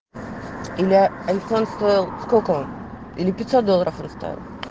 александр около или пятьсот долларов в ростове